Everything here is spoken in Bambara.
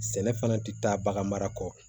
Sɛnɛ fana tɛ taa bagan mara kɔ